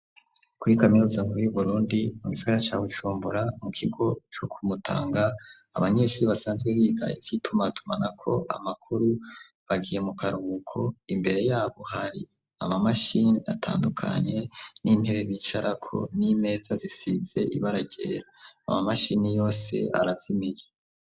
Kuri kaminuza nkuru y'uburundi mu gisagara ca Bujumbura mu kigo co ku Mutanga abanyeshure basanzwe biga ivyitumatumanako amakuru bagiye mu karuhuko imbere yabo hari amamashini atandukanye n'intebe bicarako n'imeza zisize ibara ryera, amamashini yose arazimije.